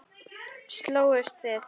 Slógust þið?